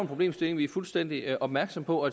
problemstilling vi er fuldstændig opmærksomme på og